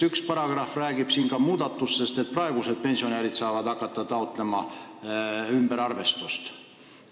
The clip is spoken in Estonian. Üks paragrahv räägib siin ka muudatusest, et praegused pensionärid saavad hakata taotlema ümberarvestust.